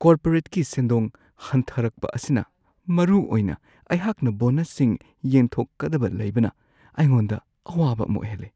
ꯀꯣꯔꯄꯣꯔꯦꯠꯀꯤ ꯁꯦꯟꯗꯣꯡ ꯍꯟꯊꯔꯛꯄ ꯑꯁꯤꯅ ꯃꯔꯨꯑꯣꯏꯅ ꯑꯩꯍꯥꯛꯅ ꯕꯣꯅꯁꯁꯤꯡ ꯌꯦꯟꯊꯣꯛꯀꯗꯕ ꯂꯩꯕꯅ ꯑꯩꯉꯣꯟꯗ ꯑꯋꯥꯕ ꯑꯃ ꯑꯣꯏꯍꯜꯂꯦ ꯫